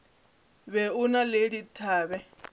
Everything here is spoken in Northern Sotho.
be o na le dithabe